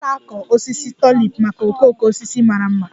A na-akọ osisi Tulip maka okooko osisi mara mma